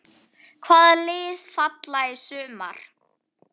Hvaða lið falla í sumar?